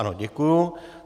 Ano, děkuju.